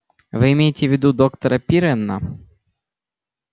вы имеете в виду доктора пиренна